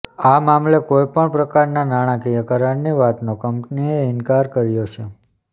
આ મામલે કોઈ પણ પ્રકારના નાણાકીય કરારની વાતનો કંપનીએ ઇન્કાર કર્યો છે